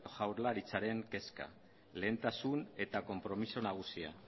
jaurlaritzaren kezka lehentasun eta konpromiso nagusia